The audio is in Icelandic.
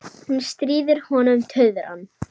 Hún stríðir honum tuðran.